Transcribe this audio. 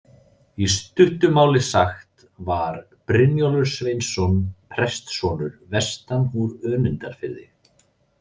Í stuttu máli sagt var Brynjólfur Sveinsson prestssonur vestan úr Önundarfirði.